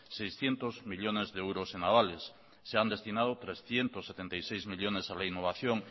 seiscientos millónes de euros en avales se han destinado trescientos setenta y seis millónes a la innovación